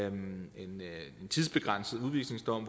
en tidsbegrænset udvisningsdom